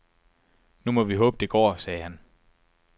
Nu må vi håbe, det går, sagde han.